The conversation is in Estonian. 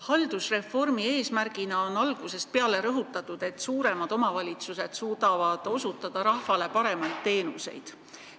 Haldusreformi eesmärgina on algusest peale rõhutatud, et suuremad omavalitsused suudavad osutada rahvale paremaid teenuseid.